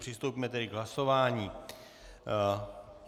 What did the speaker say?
Přistoupíme tedy k hlasování.